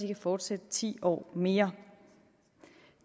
kan fortsætte ti år mere